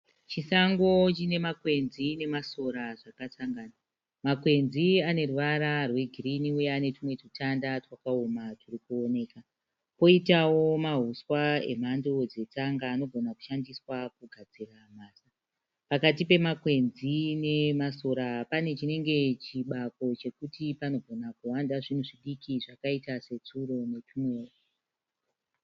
Chisango chine makwenzi nemasora zvakasangana makwenzi ane ruvara rwegirini uye ane tumwe tutanda twakaoma twuri kuonekwa koitavo mamwe anenge pakati pemakwenzi nesora panekabako kanongona kuwanda mhuka diki dzakaita setsuro.